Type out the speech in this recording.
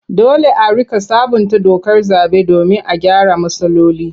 Dole a riƙa sabunta dokar zaɓe domin a gyara matsaloli.